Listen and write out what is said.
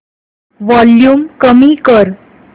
volume कमी कर